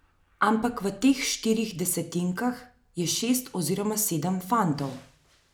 Ampak v teh štirih desetinkah je šest oziroma sedem fantov.